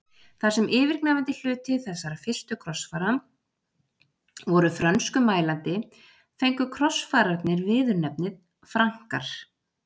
Þar sem yfirgnæfandi hluti þessara fyrstu krossfara voru frönskumælandi fengu krossfararnir viðurnefnið Frankar.